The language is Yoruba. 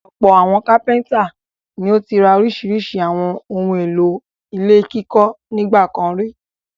Ọ̀pọ̀ àwọn kápẹ́ńtà ni ó ti rà oríṣiríṣi àwọn ohun-èlò ilé kíkọ́ nígbà kan rí.